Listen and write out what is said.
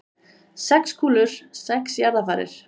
Sex kúlur, sex jarðarfarir.